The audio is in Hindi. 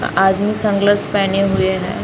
आदमी सनग्लास पेहने हुए है।